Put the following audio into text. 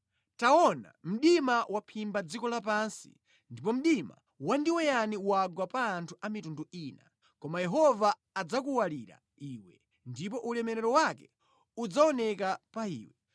Taona, mdima waphimba dziko lapansi ndipo mdima wandiweyani wagwa pa anthu a mitundu ina, koma Yehova adzakuwalira iwe, ndipo ulemerero wake udzaoneka pa iwe.